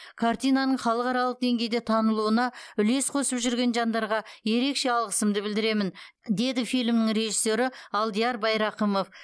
картинаның халықаралық деңгейде танылуына үлес қосып жүрген жандарға ерекше алғысымды білдіремін деді фильмнің режиссері алдияр байрақымов